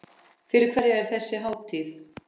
Fyrir hverja er þessi hátíð?